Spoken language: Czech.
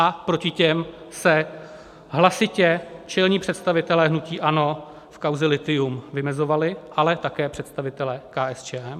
A proti těm se hlasitě čelní představitelé hnutí ANO v kauze lithium vymezovali, ale také představitelé KSČM.